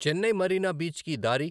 చెన్నై మరీనా బీచ్కి దారి